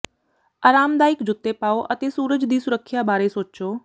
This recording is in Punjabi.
ਆਰਾਮਦਾਇਕ ਜੁੱਤੇ ਪਾਓ ਅਤੇ ਸੂਰਜ ਦੀ ਸੁਰੱਖਿਆ ਬਾਰੇ ਸੋਚੋ